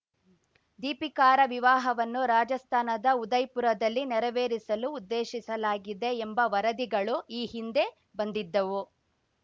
ದೀಪಿಕಾರ ವಿವಾಹವನ್ನು ರಾಜಸ್ಥಾನದ ಉದಯ್‌ಪುರದಲ್ಲಿ ನೆರವೇರಿಸಲು ಉದ್ದೇಶಿಸಲಾಗಿದೆ ಎಂಬ ವರದಿಗಳು ಈ ಹಿಂದೆ ಬಂದಿದ್ದವು